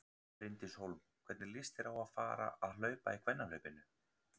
Bryndís Hólm: Hvernig líst þér á að fara að hlaupa í kvennahlaupinu?